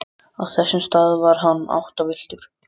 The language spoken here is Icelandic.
Á þessum stað var hann áttavilltur.